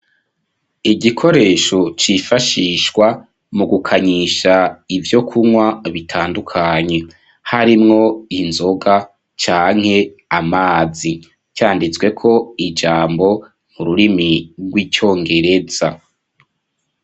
Igikoresho cifashishwa mu gukanyisha ivyo kunywa bitandukanye harimwo inzoga canke amazi canditsweko ijambo n'ururimi rw'icyongereza.